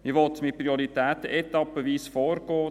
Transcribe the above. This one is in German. Man will mit Prioritäten etappenweise vorgehen.